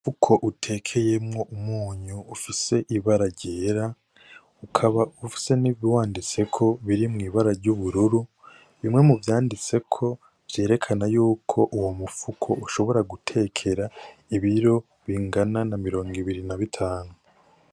Umufuko utekeyemwo umunyu ufise ibara ryera ukaba ufise n' ibiwanditseko biri mw' ibara ry'ubururu bimwe muvyanditseko vyerekana yuko uwo mu fuko ushobora gutekera ibiro bingana na mirongo i ibiri na bitanu.